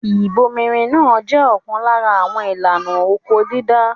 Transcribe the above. Ìbomirin náà jẹ́ ọ̀kan lára àwọn ìlànà oko-dídá.